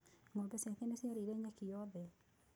Ng'ombe ciake nĩ ciarĩire nyeki yothe.